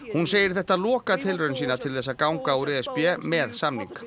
hún segir þetta lokatilraun sína til þess að ganga úr e s b með samning